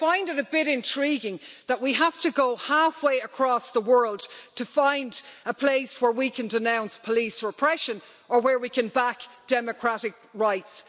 But I find it a bit intriguing that we have to go halfway across the world to find a place where we can denounce police repression or where we can back democratic rights.